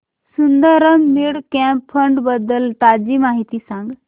Sundaram mid cap fund बद्दल ताजी माहिती सांग